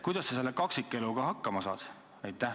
Kuidas sa selle kaksikeluga hakkama saad?